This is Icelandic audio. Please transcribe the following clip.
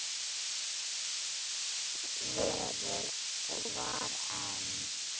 Svo hafði það verið og var enn.